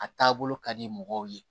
A taabolo ka di mɔgɔw ye